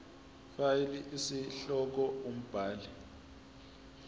fal isihloko umbhali